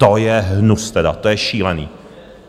To je hnus teda, to je šílený!